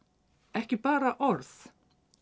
ekki bara orð